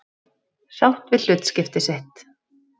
Sátt við hlutskipti sitt.